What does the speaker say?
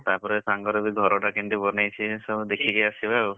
ତାପରେ ସାଙ୍ଗର ବି ଘରଟା କେମିତି ବନେଇଛି ସବୁ ଦେଖିକି ଆସିବା ଆଉ,